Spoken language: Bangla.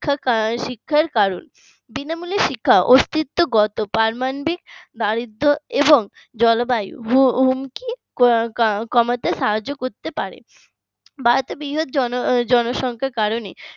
শিক্ষার কারণ বিনামূল্য শিক্ষা অস্তিত্বগত সম্বন্ধে দারিদ্র এবং জলবায়ু হুমকি কমাতে সাহায্য করতে পারে ভারতের বিশাল জনসংখ্যার কারণে